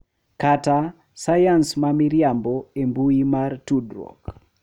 Kata "sayans ma miriambo" e mbui mag tudruok,